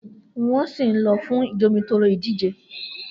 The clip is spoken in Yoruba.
Nwọn si lọ fun Jomitoro idije